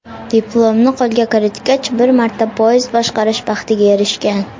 Diplomni qo‘lga kiritgach, bir marta poyezd boshqarish baxtiga erishgan.